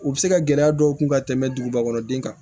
U bɛ se ka gɛlɛya dɔw kun ka tɛmɛ dugubakɔrɔden kan